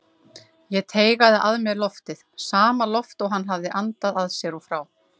Ég teygaði að mér loftið, sama loft og hann hafði andað að sér og frá.